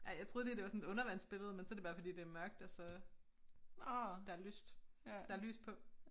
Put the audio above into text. Ej jeg troede lige det var sådan et undervandsbillede men så det bare fordi det er mørkt og så der er lyst der er lys på